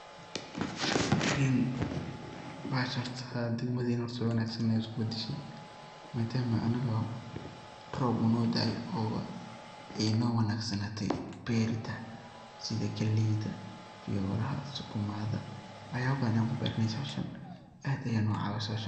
en bahasha horta haadi ad modeynin sii wanaagsan ayay isku badashe, madama anaga rob uu no daaya oo ay no wanaagsanatay berida sida galeyda, fiyoraha sukumada, wax yaba badan ad kuberaneysa meshan aad ay no cawiise bahashan